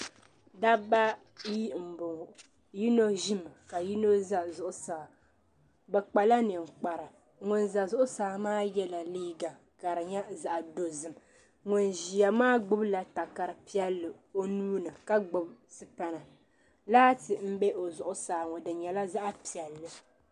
Dabba ayi n bɔŋo yino ʒimi ka yino za zuɣusaa bi kpa la ninkpara ŋun za zuɣusaa maa yɛla liiga ka di nyɛ zaɣa dozim ŋun ʒiya maa gbubi la takara piɛlli o nuuni ka gbubi sipana laati n bɛ o zuɣusaa ŋɔ di nyɛla zaɣa piɛlli.